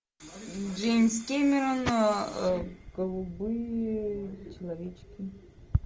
джеймс кэмерон голубые человечки